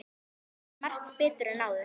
Nú skil ég margt betur en áður.